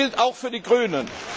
Das gilt auch für die Grünen!